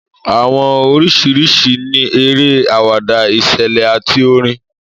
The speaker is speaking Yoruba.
Àwọn oríṣìíríṣìí ni eré, àwàdà, ìṣẹ̀lẹ̀, àti orin.